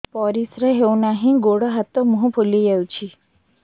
ପରିସ୍ରା ହଉ ନାହିଁ ଗୋଡ଼ ହାତ ମୁହଁ ଫୁଲି ଯାଉଛି